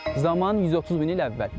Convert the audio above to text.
Zaman 130 min il əvvəl.